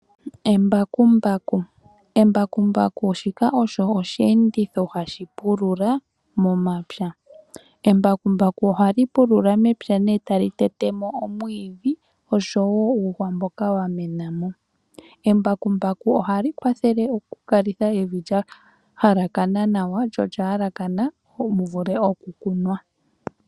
Embakumbaku Embakumbaku olyo osheenditho shoka hashi pulula momapya. Oha li pulula mepya nee tali tetemo omwiidhi osho woo uuhwa mboka wamena mo. Ohali kwathele okukalitha evi lya halakana nawa lyo olya yalakana muvule oku kunwa.